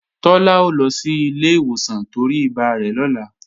Tọ́lá ó lọ sí ilé ìwòsàn torí ibà rẹ̀ lọ́la